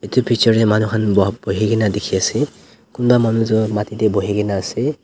Etu picture dae manu khan buha buhui kena dekhe ase kunba manu tuh mati dae buhikena ase--